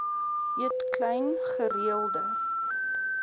eet klein gereelde